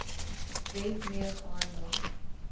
wet mee gehandel